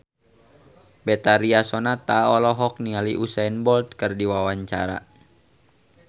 Betharia Sonata olohok ningali Usain Bolt keur diwawancara